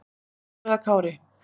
Þú eða Kári?